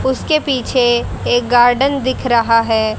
उसके पीछे एक गार्डन दिख रहा है।